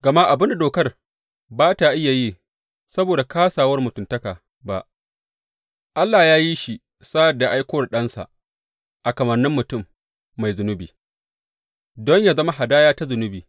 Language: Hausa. Gama abin da dokar ba tă iya yi saboda kāsawar mutuntaka ba, Allah ya yi shi sa’ad da ya aiko da Ɗansa a kamannin mutum mai zunubi, don yă zama hadaya ta zunubi.